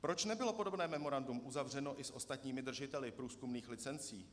Proč nebylo podobné memorandum uzavřeno i s ostatními držiteli průzkumných licencí?